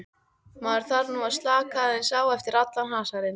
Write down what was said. Maður þarf nú að slaka aðeins á eftir allan hasarinn.